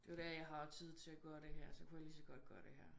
Det er jo der jeg har tid til at gøre det her så kunne jeg lige så godt gøre det her